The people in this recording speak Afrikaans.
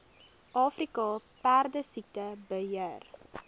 afrika perdesiekte beheer